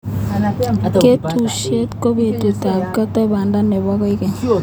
Katunisyet ko betutab ketoi banda nebo koikeny.